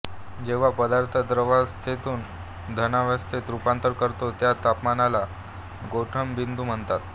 जेव्हा पदार्थ द्रवावस्थेतून घनावस्थेत रूपांतरण करतो त्या तापमानाला गोठणबिंदू म्हणतात